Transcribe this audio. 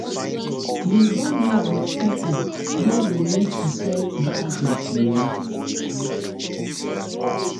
You don live with people wey you need to set boundaries with?